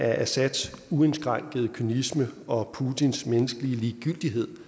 at assads uindskrænkede kynisme og putins ligegyldighed